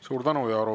Suur tänu!